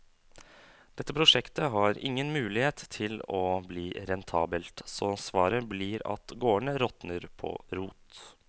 Dette prosjektet har ingen mulighet til å bli rentabelt, så svaret blir at gårdene råtner på rot.